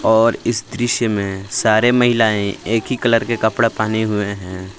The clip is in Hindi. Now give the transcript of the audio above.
और इस दृश्य मे सारे महिलाएं एक ही कलर के कपड़ा पहने हुए है।